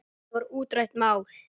Þetta var útrætt mál.